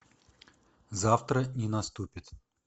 завтра не наступит